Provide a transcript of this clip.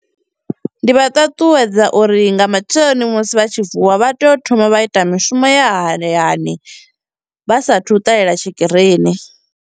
Ndi vha ṱaṱuwedza uri nga matsheloni musi vha tshi vuwa vha tea u thoma vha ita mishumo ya hayani vha sathu ṱalela tshikirini.